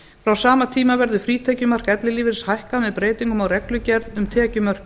frá sama tíma verði frítekjumark ellilífeyris hækkað með breytingum á reglugerð um tekjumörk